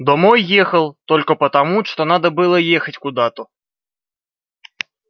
домой ехал только потому что надо было ехать куда-то